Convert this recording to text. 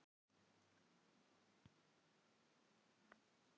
Henning, spilaðu lagið „Haustið á liti“.